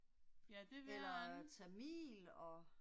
Ja det ved jeg ikke